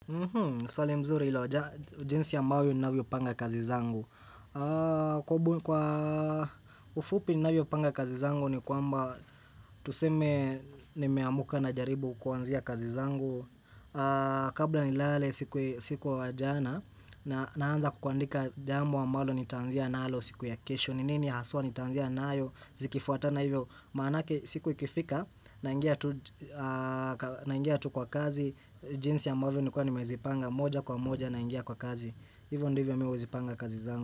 Swali mzuri hilo jinsi ambavyo ninavyo panga kazi zangu Kwa ufupi ninavyo panga kazi zangu ni kwamba Tuseme nimeamka najaribu kuanzia kazi zangu Kabla nilale siku wa jana Naanza kuandika jambo ambalo nitaanzia nalo siku ya kesho ni nini haswa nitaanzia nayo zikifuatana hivyo Maanake siku ikifika naingia tu kwa kazi jinsi ambavyo nilikuwa nimezipanga moja kwa moja naingia kwa kazi Hivyo ndivyo mi huzipanga kazi zangu.